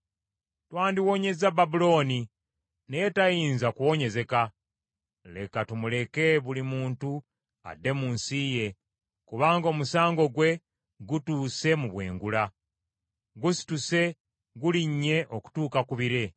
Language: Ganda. “ ‘Twandiwonyezza Babulooni, naye tayinza kuwonyezeka. Leka tumuleke buli muntu adde mu nsi ye, kubanga omusango gwe gutuuse mu bwengula, gusituse gulinnye okutuuka ku bire.’